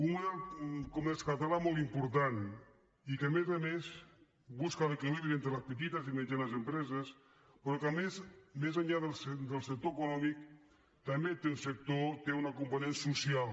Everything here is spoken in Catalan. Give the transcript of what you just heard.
un model de comerç català molt important i que a més a més busca l’equilibri entre les petites i mitjanes empreses però que a més més enllà del sector econòmic també té un sector té una component social